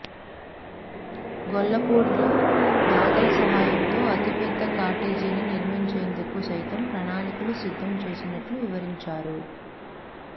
గొల్లపూడిలో దాతల సహాయంతో అతి పెద్ద కాటేజీని నిర్మించేందుకు సైతం ప్రణాళికలు సిద్ధం చేసినట్లు వివరించారు